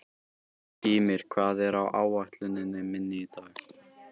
Gýmir, hvað er á áætluninni minni í dag?